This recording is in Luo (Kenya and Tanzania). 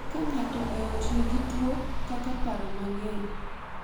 Ka ng’ato e ot nigi tuwo kaka paro mang’eny,